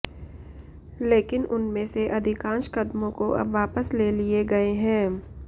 लेकिन उनमें से अधिकांश कदमों को अब वापस ले लिए गए हैं